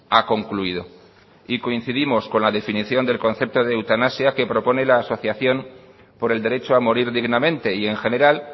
ha concluido y coincidimos con la definición del concepto de eutanasia que propone la asociación por el derecho a morir dignamente y en general